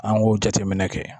An k'o jateminɛ kɛ